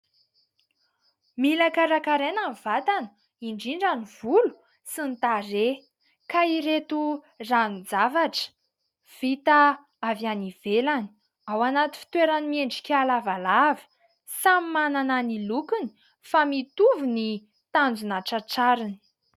Mila karakaraina ny vatana indrindra ny volo sy ny tarehy ka ireto ranon-javatra vita avy any ivelany, ao anaty fitoerany miendrika lavalava, samy manana ny lokony fa mitovy ny tanjona tratrariny.